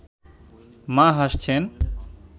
মা হাসছেন